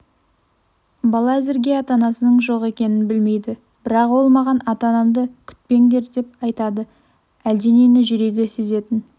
бала әзірге ата-анасының жоқ екенін білмейді бірақ ол маған ата-анамды күтпеңдер деп айтады әлденені жүрегі сезетін